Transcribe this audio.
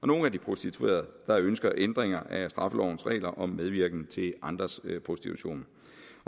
nogle af de prostituerede der ønsker ændringer af straffelovens regler om medvirken til andres prostitution